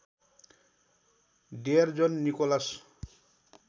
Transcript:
dear John Nicholas